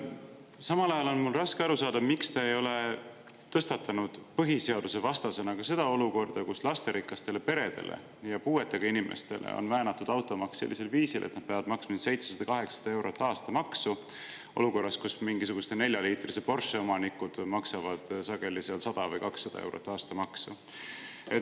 Samal ajal on mul raske aru saada, miks te ei ole tõstatanud põhiseadusvastasena ka seda olukorda, kus lasterikastele peredele ja puuetega inimestele on väänatud automaks sellisel viisil, et nad peavad maksma 700–800 eurot aastamaksu olukorras, kus mingisuguse neljaliitrise Porsche omanikud maksavad sageli seal 100 või 200 eurot aastamaksu.